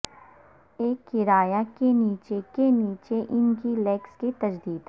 ایک کرایہ کے نیچے کے نیچے ان کی لیکس کی تجدید